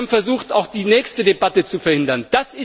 Sie haben versucht, auch die nächste Debatte zu verhindern.